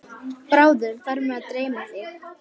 Bráðum fer mig að dreyma þig.